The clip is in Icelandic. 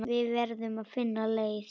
Við verðum að finna leið.